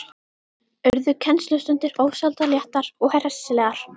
Urðu kennslustundir ósjaldan léttar og hressilegar.